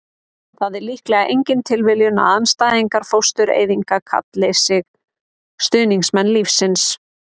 það er líklega engin tilviljun að andstæðingar fóstureyðinga kalli sig stuðningsmenn lífsins